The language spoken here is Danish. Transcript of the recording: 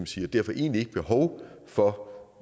sige og derfor egentlig ikke behov for